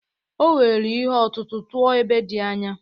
O were ihe ọ̀tụ̀tụ̀ tụọ ebe dị anya.